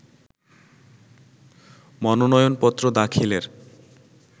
মনোনয়নপত্র দাখিলের